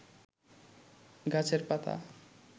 গাছের পাতা